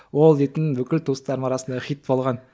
ол дейтін бүкіл туыстарым арасында хит болған